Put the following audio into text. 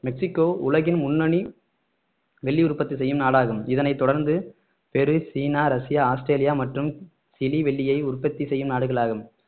Mexico உலகின் முன்னணி வெள்ளி உற்பத்தி செய்யும் நாடாகும் இதனைத் தொடர்ந்து பெரு சீனா ரஷ்யா ஆஸ்திரேலியா மற்றும் சிலி வெள்ளியை உற்பத்தி செய்யும் நாடுகளாகும்